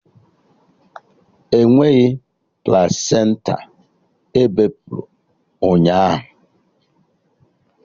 Enweghị plasenta ebepụrụ ụnyaahụ!